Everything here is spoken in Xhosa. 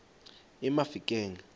emafikeng